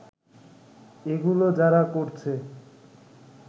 এগুলো যারা করছে